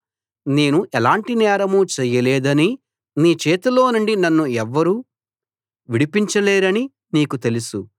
నేను ఎలాంటి నేరం చేయలేదనీ నీ చేతిలోనుండి నన్ను ఎవ్వరూ విడిపించలేరనీ నీకు తెలుసు